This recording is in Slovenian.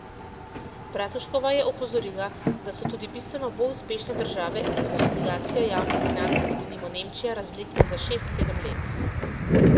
Bratuškova je opozorila, da so tudi bistveno bolj uspešne države konsolidacijo javnih financ kot denimo Nemčija razvlekle za šest, sedem let.